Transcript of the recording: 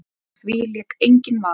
Á því lék enginn vafi.